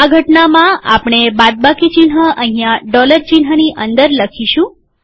આ ઘટનામાંઆપણે બાદબાકી ચિહ્ન અહીંયા ડોલર ચિહ્નની અંદર લખીશું